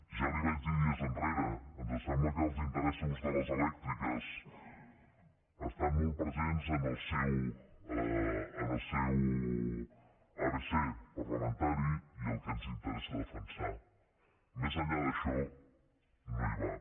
ja li ho vaig dir dies enrere ens sembla que els interessos de les elèctriques estan molt presents en el seu abecé parlamentari i el que els interessa defensar més enllà d’això no hi van